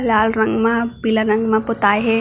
लाल रंग मा पीला रंग मा पोताए हे।